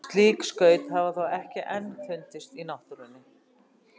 Slík skaut hafa þó ekki enn fundist í náttúrunni.